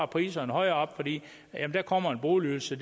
priserne højere op fordi der kommer en boligydelse